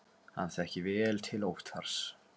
Hann þekkir vel til Óttars.